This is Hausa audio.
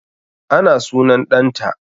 Ana sunan ɗan ta